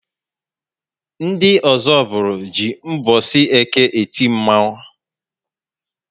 Ndị Ozubulu jị mbosi Eke eti Mmanwu